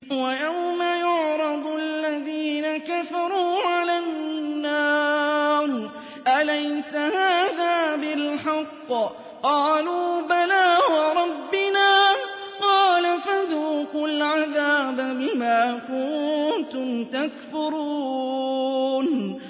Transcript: وَيَوْمَ يُعْرَضُ الَّذِينَ كَفَرُوا عَلَى النَّارِ أَلَيْسَ هَٰذَا بِالْحَقِّ ۖ قَالُوا بَلَىٰ وَرَبِّنَا ۚ قَالَ فَذُوقُوا الْعَذَابَ بِمَا كُنتُمْ تَكْفُرُونَ